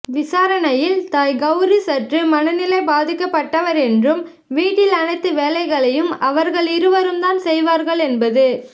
விசாரணையில் தாய் கவுரி சற்று மனநிலை பாதிக்கப்பட்டவர் என்றும் வீட்டில் அனைத்து வேலைகளையும் அவர்கள் இருவர் தான் செய்வார்கள் என்பது